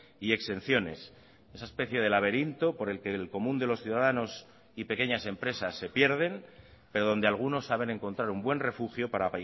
y exenciones esa especie de laberinto por el que el común de los ciudadanos y pequeñas empresas se pierden pero donde algunos saben encontrar un buen refugio para